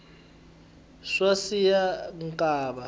swa siya nkava